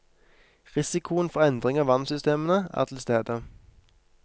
Risikoen for endringer av vannsystemene er til stede.